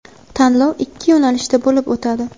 Tanlov ikki yo‘nalishda bo‘lib o‘tadi:.